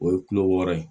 O ye kulo wɔɔrɔ ye